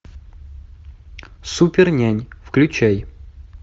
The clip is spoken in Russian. супернянь включай